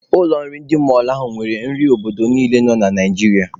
Ụlọ nri ndị mọlụ ahụ nwere nri obodo niile nọ na Naijiria.